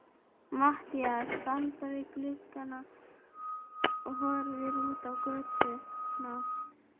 Matthías standa við gluggann og horfa út á götuna.